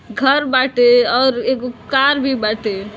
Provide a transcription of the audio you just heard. घर बाटे और एगो कार भी बाटे।